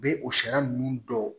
U bɛ o sariya ninnu bɔ